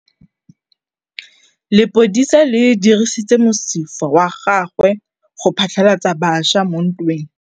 Lepodisa le dirisitse mosifa wa gagwe go phatlalatsa batšha mo ntweng.